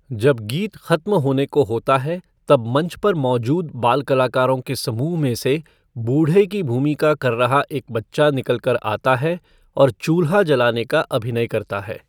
जब गीत ख़त्म होने को होता है, तब मंच पर मौजूद बाल कलाकारों के समूह में से बूढे़ की भूमिका कर रहा एक बच्चा निकल कर आता है और चूल्हा जलाने का अभिनय करता है।